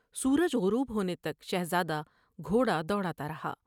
سورج غروب ہونے تک شہزادہ گھوڑا دوڑا تا رہا ۔